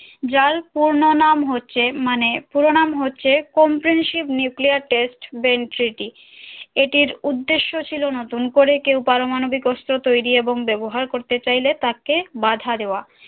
যার পূর্ণ নাম হচ্ছে মানে পুরোনাম হচ্ছে কম্প্রিহেনসিভ নিউক্লিয়ার বেঞ্চি টি এটির উদ্দেশ্য ছিল নতুন করে কেও পারমাণবিক অস্ত্র তৈরী এবং ব্যবহার করতে চাইলে তাকে বাঁধা দেওয়া